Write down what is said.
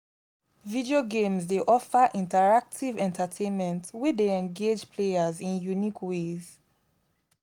video games dey offer interactive entertainment wey dey engage players in unique ways.